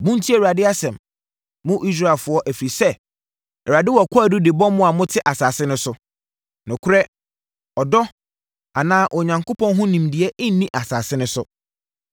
Montie Awurade asɛm, mo Israelfoɔ ɛfiri sɛ Awurade wɔ kwaadu de bɔ mo a mote asase no so: “Nokorɛ, ɔdɔ, anaa Onyankopɔn ho nimdeɛ nni asase no so.